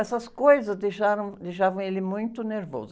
Essas coisas deixaram, deixavam ele muito nervoso.